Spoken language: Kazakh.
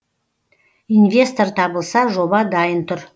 инвестор табылса жоба дайын тұр